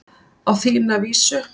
Á þína vísu.